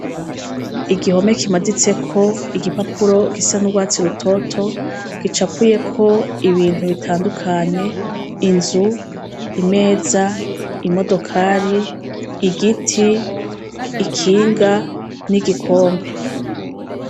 Igihome kimaditsek' igipapuro gisa n' urwatsi rutoto gicapuyek' ibintu bitandukanye inzu, imeza, imodokari, igiti, ikinga n igikombe.